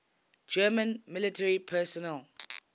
german military personnel